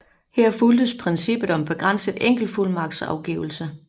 Her fulgtes princippet om begrænset enkeltfuldmagtsafgivelse